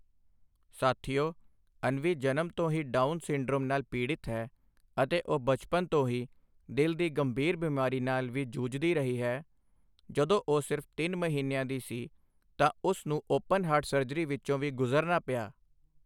ਸਾਥੀਓ, ਅਨਵੀ ਜਨਮ ਤੋਂ ਹੀ ਡਾਊਨ ਸਿੰਡਰੋਮ ਨਾਲ ਪੀੜਿਤ ਹੈ ਅਤੇ ਉਹ ਬਚਪਨ ਤੋਂ ਹੀ ਦਿਲ ਦੀ ਗੰਭੀਰ ਬਿਮਾਰੀ ਨਾਲ ਵੀ ਜੂਝਦੀ ਰਹੀ ਹੈ, ਜਦੋਂ ਉਹ ਸਿਰਫ ਤਿੰਨ ਮਹੀਨਿਆਂ ਦੀ ਸੀ ਤਾਂ ਉਸ ਨੂੰ ਓਪਨ ਹਾਰਟ ਸਰਜਰੀ ਵਿੱਚੋਂ ਵੀ ਗੁਜ਼ਰਨਾ ਪਿਆ।